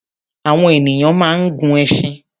Àwọn ènìyàn máa ń gun ẹṣin